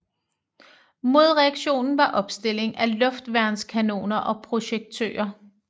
Modreaktionen var opstilling af luftværnskanoner og projektører